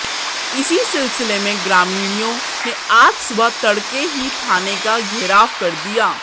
इसी सिलसिले में ग्रामीणों ने आज सुबह तड़के ही थाने का घेराव कर दिया